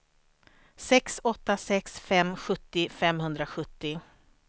sex åtta sex fem sjuttio femhundrasjuttio